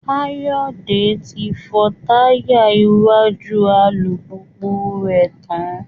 Káyọ̀dé ti fọ táyà iwájú alùpùpù rẹ̀ tán